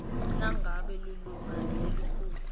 nangabe lilunga lelikhulu